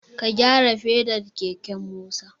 Ka gyara fedar keken Musa!